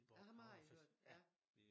Ham har I hørt ja